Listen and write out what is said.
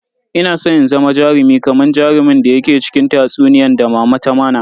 Ina san in zama jarumi kaman jarumin da yake cikin tatsuniyan da mama ta mana.